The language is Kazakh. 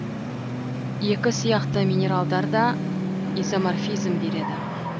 екі сияқты минералдар да изоморфизм береді